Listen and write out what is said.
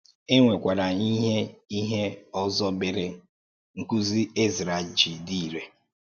É nwekwara ìhè ìhè ọzọ mere nkụ́zi um Ezrā ji dị irè.